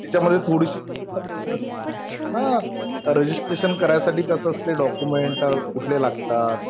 आणि तिच्यामध्ये थोडीशी हा. रजिस्ट्रेशन करायसाठी कसं असते, डॉक्युमेंट कुठले लागतात.